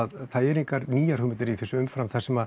það eru engar nýjar hugmyndir í þessu umfram það sem